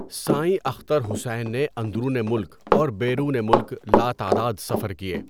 سائیں اختر حسین نے اندرون ملک اور بیرون ملک لاتعداد سفر کیے۔